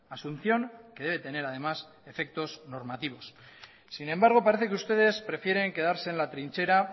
asunción que debe tener además efectos normativos sin embargo parece que ustedes prefieren quedarse en la trinchera